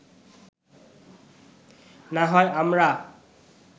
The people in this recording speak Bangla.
না হয় আমরা